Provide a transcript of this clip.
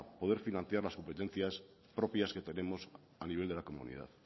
poder financiar las competencias propias que tenemos a nivel de la comunidad